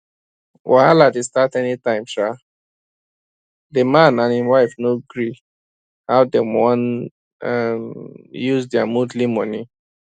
wahala dey start any time um the man and him wife no gree how dem wan um use their monthly money